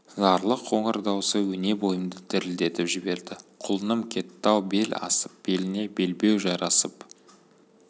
зарлы қоңыр даусы өне бойымды дірілдетіп жіберді құлыным кетті-ау бел асып беліне белбеу жарасып